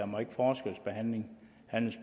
må forskelsbehandles